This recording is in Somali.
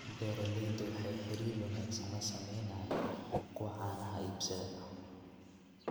Beeraleydu waxay xiriir wanaagsan la sameynayaan kuwa caanaha iibsada.